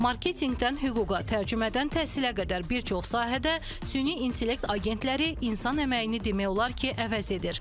Marketinqdən hüquqa, tərcümədən təhsilə qədər bir çox sahədə süni intellekt agentləri insan əməyini demək olar ki, əvəz edir.